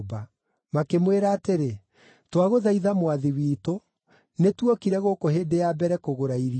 Makĩmwĩra atĩrĩ, “Twagũthaitha mwathi witũ, nĩ tuokire gũkũ hĩndĩ ya mbere kũgũra irio.